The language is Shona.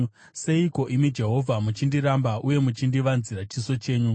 Seiko, imi Jehovha, muchindiramba uye muchindivanzira chiso chenyu?